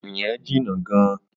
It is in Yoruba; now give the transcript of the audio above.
Ìyẹn jìnnà gan-an.